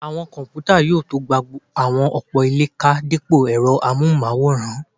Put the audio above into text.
Àwọn kọ̀mpútà yóò tó gba àwọn ọ̀pọ̀ ilé ká dípò ẹ̀rọ amóhùnmáwòrán